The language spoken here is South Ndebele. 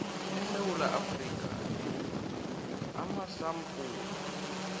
esewula afrika amasampula